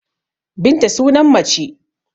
Binta sunan mace